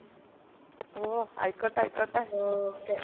ഓ ആയിക്കോട്ട ആയിക്കോട്ട okay